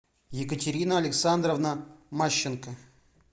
екатерина александровна мащенко